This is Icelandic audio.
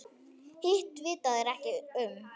Hitt vita þeir ekkert um.